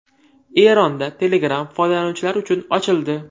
Eronda Telegram foydalanuvchilar uchun ochildi.